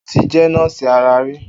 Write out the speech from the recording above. O ti jẹ́ nọ́ọ̀sì ara rí.